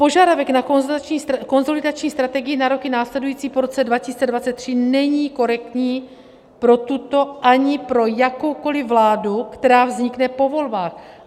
Požadavek na konsolidační strategii na roky následující po roce 2023 není korektní pro tuto ani pro jakoukoliv vládu, která vznikne po volbách.